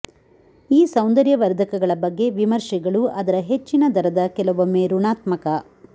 ಈ ಸೌಂದರ್ಯವರ್ಧಕಗಳ ಬಗ್ಗೆ ವಿಮರ್ಶೆಗಳು ಅದರ ಹೆಚ್ಚಿನ ದರದ ಕೆಲವೊಮ್ಮೆ ಋಣಾತ್ಮಕ